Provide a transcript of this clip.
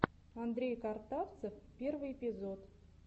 андрей картавцев первый эпизод